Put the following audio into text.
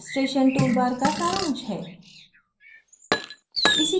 जो कि हमारे administration toolbar का सारांश है